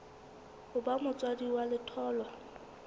ho ba motswadi wa letholwa